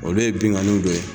Olu ye binganiw de ye.